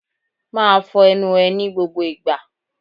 Máa fọ ẹnu ẹ ní gbogbo ìgbà.